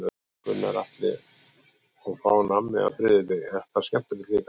Gunnar Atli: Og fá nammi á þriðjudegi, er það skemmtilegt líka?